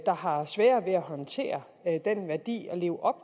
der har sværere ved at håndtere den værdi og leve op